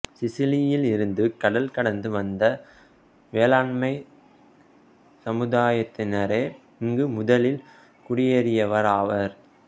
சிசிலியில் இருந்து கடல் கடந்து வந்த வேளாண்மைச் சமுதாயத்தினரே இங்கு முதலில் குடியேறியவராவர்